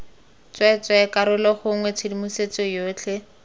tsweetswee karolo gongwe tshedimosetso yotlhe